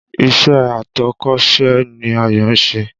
Ìṣe atọ́kọ̀sè ni Ayọ̀ ń ṣe